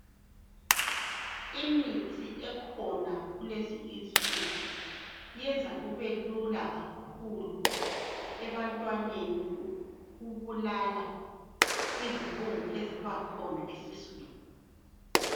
Imithi ekhona kulezi insuku iyenza kubelula kakhulu ebantwaneni ukubulala izibungu ezibakhona esiswini.